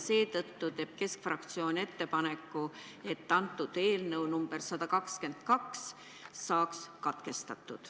Seetõttu teeb keskfraktsioon ettepaneku, et eelnõu nr 122 lugemine saaks katkestatud.